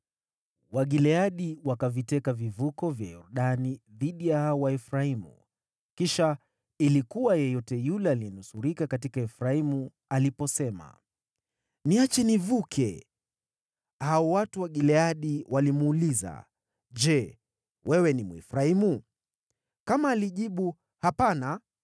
Wagileadi wakaviteka vivuko vya Yordani dhidi ya hao Waefraimu, kisha ilikuwa yeyote yule aliyenusurika katika Efraimu aliposema, “Niache nivuke,” hao watu wa Gileadi walimuuliza, “Je wewe ni Mwefraimu?” Kama alijibu “Hapana,”